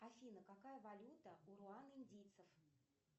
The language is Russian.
афина какая валюта у руан индийцев